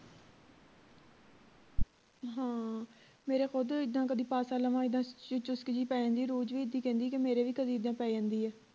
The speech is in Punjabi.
ਹਾਂ ਮੇਰੇ ਖੁਦ ਇੱਦਾਂ ਕਦੀ ਪਾਸਾ ਲਵਾਂ ਇੱਦਾਂ ਚੁਸਕ ਜੀ ਪੈ ਜਾਂਦੀ ਰੋਜ ਵੀ ਇੱਦਾਂ ਹੀ ਕਹਿੰਦੀ ਕੇ ਮੇਰੇ ਵੀ ਕਦੀ ਇੱਦਾਂ ਪੈ ਜਾਂਦੀ ਹੈ